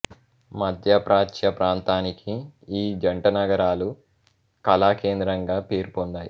మధ్య ప్రాచ్య ప్రాంతానికి ఈ జంటనగరాలు కళా కేంద్రంగా పేరు పొందాయి